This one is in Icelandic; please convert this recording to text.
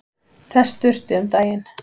Þess þurfti um daginn.